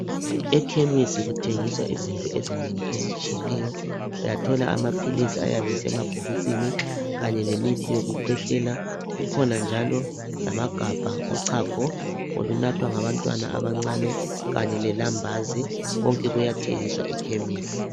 Ekhemisi kuthengiswa izinto ezinengi ezitshiyeneyo. Uyathola amaphilisi ayabe esemabhokisini, kanye lemithi yokukhwehlela, lamagabha ochago, olunathwa ngabantwana abancane kanye lelambazi konke kuyathengiswa ekhemisi.